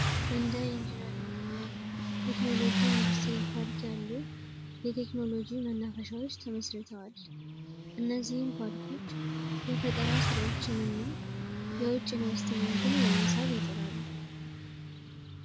እንደ ኢንጂኒሪንግ እና ቴክኖሎጂ ኢንዱስትሪ ፓርክ ያሉ የቴክኖሎጂ መናፈሻዎች ተመስርተዋል እነዚህም ፓርኮች የፈጠራ ሥራዎችን ና የውጭ ኢንቨስትመንትን ለመሳብ ይጥራሉ